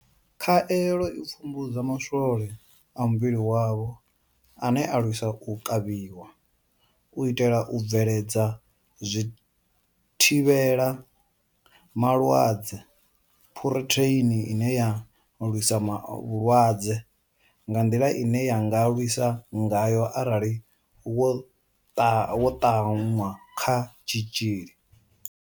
Khaelo i pfumbudza ma swole a muvhili wavho ane a lwisa u kavhiwa, u itela u bveledza zwithivhela malwadze phurotheini ine ya lwisa vhulwadze nga nḓila ine ya nga lwisa ngayo arali vho ṱanwa kha tshitzhili.